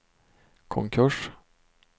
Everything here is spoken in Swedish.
konkurs